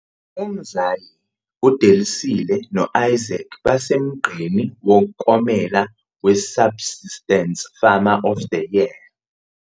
UMzwayi, uDelisile no-Isaac basemgqeni womklomelo we-Subsistence Farmer of the Year.